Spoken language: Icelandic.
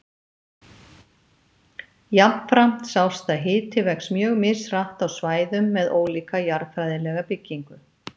Jafnframt sást að hiti vex mjög mishratt á svæðum með ólíka jarðfræðilega byggingu.